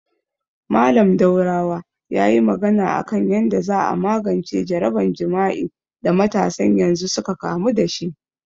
Mallam Daurawa yayi magana a kan yanda za a magance jaraban jima'i da matasan yanzu suka kamu dashi